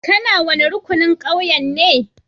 Ka na wani rukunin ƙauyen ne?